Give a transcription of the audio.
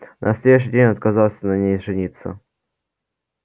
на следующий день он отказался на ней жениться